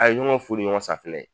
A ye ɲɔgɔn fu ni ɲɔgɔn safinɛ ye